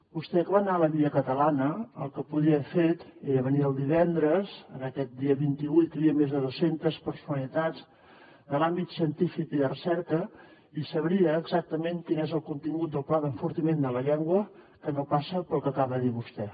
vostè que va anar a la via catalana el que podia haver fet era venir el divendres en aquest dia vint vuit que hi havia més de dos centes personalitats de l’àmbit científic i de recerca i sabria exactament quin és el contingut del pla d’enfortiment de la llengua que no passa pel que acaba de dir vostè